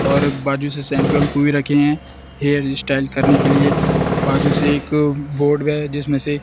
और बाजू से शैंपू वेंपू भी रखे है हेयर स्टाइल करने के लिए बाजू से एक बोर्ड गये जिसमें से--